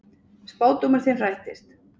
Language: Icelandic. Spádómur þinn rættist.